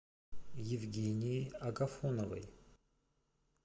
евгенией агафоновой